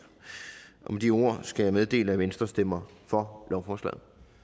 og med de ord skal jeg meddele at venstre stemmer for lovforslaget